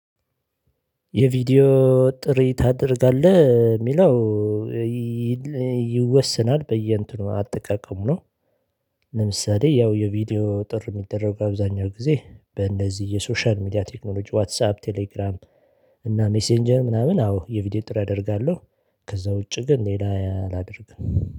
የቪዲዮ ጥሪ ታደርጋለህ የሚለው ይወሰናል በየእንትኑ አጠቃቀሙ ነው። ለምሳሌ ያው የቪዲዮ ጥር የሚደረጉ አብዛኛው ጊዜ በእንደዚህ የሶሻል ሚዲያ ቴክኖሎጂ ዋትሳፕ ቴሌግራም እና ሜሴንጀር ምናምን አዎ የቪዲዮ ጥሪ አደርጋለሁ። ከዛ ውጪ ግን ሌላ አላደርግም